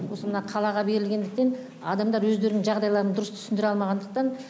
осы мына қалаға берілгендіктен адамдар өздерінің жағдайларын дұрыс түсіндіре алмағандықтан